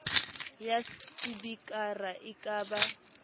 ya sepikara e ka ba